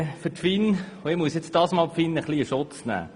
Ich muss nun die FIN ein wenig in Schutz nehmen.